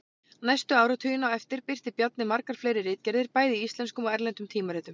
Næstu áratugina á eftir birti Bjarni margar fleiri ritgerðir bæði í íslenskum og erlendum tímaritum.